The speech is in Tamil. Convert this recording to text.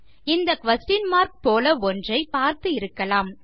இந்த குயஸ்ஷன் மார்க் போல ஒன்றை பார்த்து இருக்கலாம்